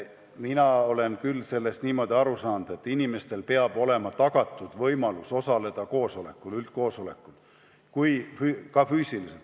Mina olen küll niimoodi aru saanud, et inimestele peab olema tagatud võimalus osaleda üldkoosolekul ka füüsiliselt.